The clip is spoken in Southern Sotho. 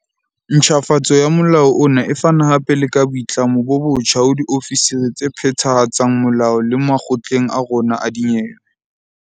Ntjhafatso ya molao ona e fana hape le ka boitlamo bo botjha ho diofisiri tse phethahatsang molao le makgotleng a rona a dinyewe.